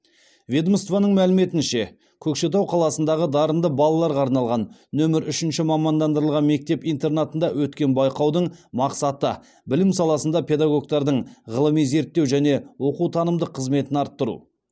ведомствоның мәліметінше көкшетау қаласындағы дарынды балаларға арналған нөмір үшінші мамандандырылған мектеп интернатында өткен байқаудың мақсаты білім саласында педагогтардың ғылыми зерттеу және оқу танымдық қызметін арттыру